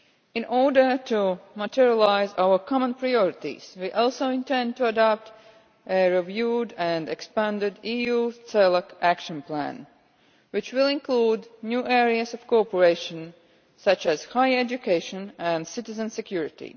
In order to materialise our common priorities, we also intend to adopt a reviewed and expanded EU CELAC Action Plan, which will include new areas of cooperation such as higher education and citizen security.